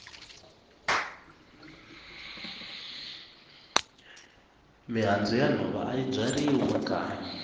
mihandzu ya nhova ayi byariwi makaya